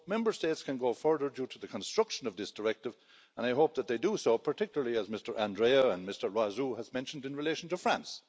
Member States can go further due to the construction of this directive and I hope that they do so, particularly as Mr Andrieu and Mr Loiseau have mentioned, in relation to France.